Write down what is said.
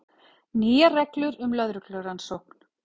Nýjar reglur um lögreglurannsókn